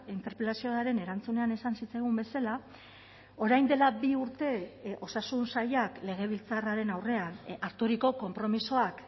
interpelazioaren erantzunean esan zitzaigun bezala orain dela bi urte osasun sailak legebiltzarraren aurrean harturiko konpromisoak